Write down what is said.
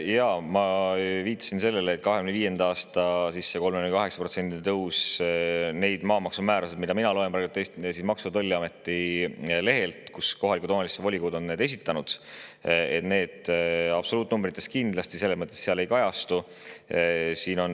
Jaa, ma viitasin sellele, et see 2025. aasta 38%‑line tõus nendes maamaksumäärades, absoluutnumbrites, mida mina loen praegu Maksu‑ ja Tolliameti lehelt ja mille kohalike omavalitsuste volikogud on esitanud, kindlasti ei kajastu.